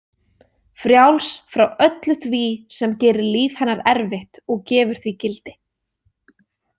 Frjáls frá öllu því sem gerir líf hennar erfitt og gefur því gildi.